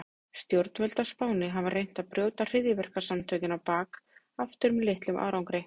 Stjórnvöld á Spáni hafa reynt að brjóta hryðjuverkasamtökin á bak aftur með litlum árangri.